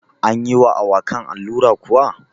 Anyi wa awakan allura kuwa?